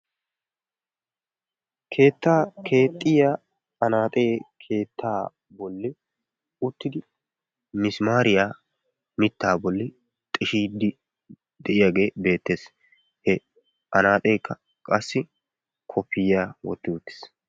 Keettaa keexxiyaa anaaxe Keettaa bolli uttidi misimaariya mittaa bolli xishiiddi de'iyaagee beettees. He anaaxxekka qassi koppiyiyaa wotti uttiis.